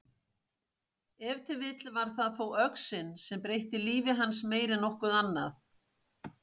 Ef til vill var það þó öxin sem breytti lífi hans meir en nokkuð annað.